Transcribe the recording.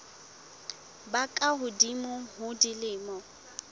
ba ka hodimo ho dilemo